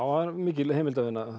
það er mikil heimildavinna